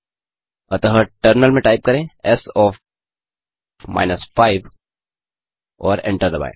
अतः टर्मिनल में टाइप करें एस ओएफ 5 और एंटर दबाएँ